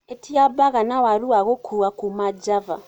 ĩtĩa baga na waru wa gũkũwa kũma java